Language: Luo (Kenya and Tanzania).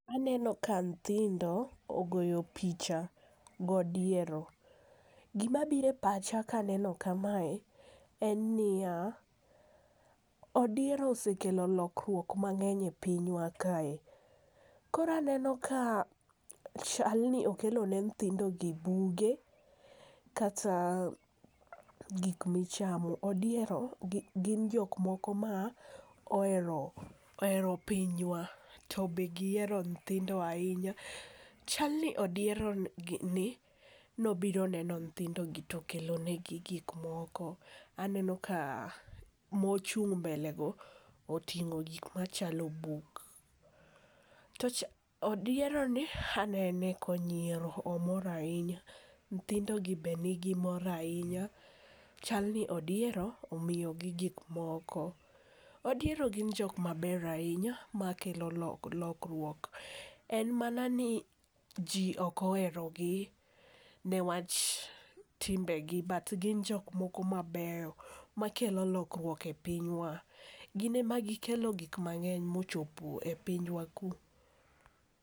aneno ka nyithindo ogoyo picha godiero. Gimabiro e pacha kaneno kamae, en niya, odiero osekelo lokruok mang'eny e pinywa kae, koro aneno ka chalni okelo ne nyithindogi buge kata gik michamo. odiero gin jok moko ma ohero pinywa, to be gihero nyithindo ahinya. Chal ni odieroni nobiro neno nyithindogi to okelonegi gik moko. Aneno ka mochung' mbele go.oting'o gik machalo buk, odieroni anene konyiero. Omor ahinya, nyithindogi be nigi mor ahinya, chal ni odiero omiyogi gikmoko. Odiero gin jok maber ahinya makelo lokruok ,en mana ni, ji ok oherogi niwach timbegi but gin jok moko mabeyo makelo lokruok e pinywa. Gin ema gikelo gik mang'eny bochopo e pinywa ku.